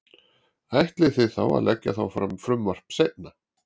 Ætlið þið þá að leggja þá fram frumvarp seinna?